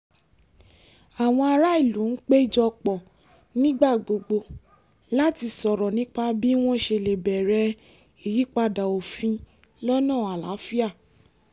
àwọn ará ìlú ń péjọ pọ̀ nígbà gbogbo láti sọ̀rọ̀ nípa bí wọ́n ṣe lè béèrè ìyípadà òfin lọ́nà àlàáfíà